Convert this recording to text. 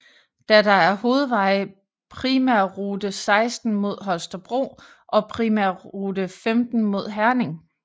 Da der er hovedveje primærrute 16 mod Holstebro og primærrute 15 mod Herning